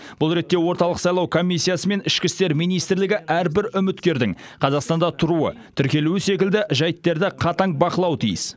бұл ретте орталық сайлау комиссиясы мен ішкі істер министрлігі әрбір үміткердің қазақстанда тұруы тіркелуі секілді жайттарды қатаң бақылауы тиіс